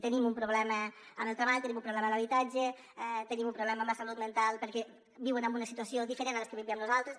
tenim un problema amb el treball tenim un problema amb l’habitat·ge tenim un problema amb la salut mental perquè viuen en una situació diferent a la que vivíem nosaltres